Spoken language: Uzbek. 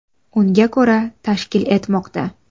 Unga ko‘ra: tashkil etmoqda.